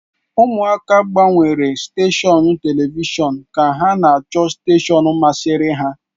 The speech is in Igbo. Ụmụaka gbanwere steshọn telivishọn ka ha chọta steshọn masịrị ha.